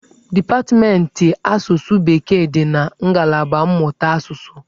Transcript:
Dipatmentị asụsụ bekee dị na ngalaba mmụta asụsụ.